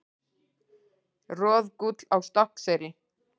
Roðgúll á Stokkseyri.